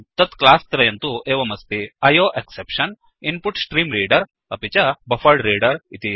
तत् क्लास्त्रयं तु एवमस्ति आयोएक्सेप्शन इन्पुट्स्ट्रीम्रेडर अपि च बफरेड्रेडर इति